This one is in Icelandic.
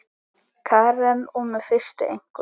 Karen: Og með fyrstu einkunn?